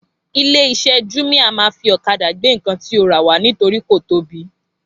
ilé iṣé júmíá ma fí ọ̀kadà gbé ǹkan tí o ra wá nítorí kò tóbi